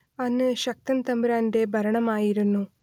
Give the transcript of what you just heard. അന്ന് ശക്തൻ തമ്പുരാന്റെ ഭരണമായിരുന്നു